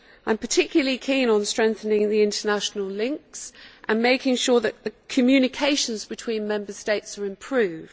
I am particularly keen on strengthening the international links and making sure that the communications between Member States are improved.